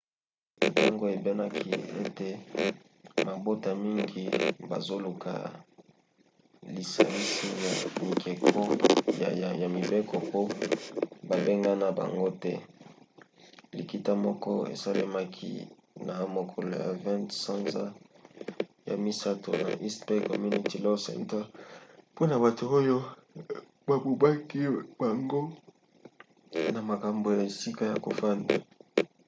ntango eyebanaki ete mabota mingi bazoluka lisalisi ya mibeko po babengana bango te likita moko esalemaki na mokolo ya 20 sanza ya misato na east bay community law center mpona bato oyo babubaki bango na makambo ya esika ya kofanda